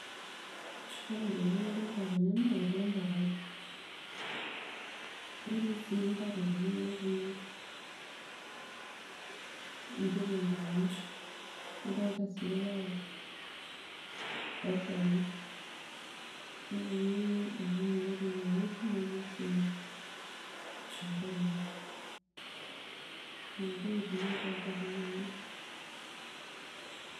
Ore ntokitin nadolta tene naa etii empokai netii sii nakroti netii nkitunguni, nadolita sii rpaek netii orkunia otii inewueji netii endoolu, nona ntokitin nadolta tine .